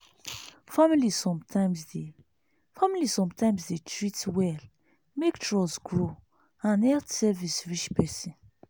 family sometimes dey family sometimes dey treat well make trust grow and health service reach person.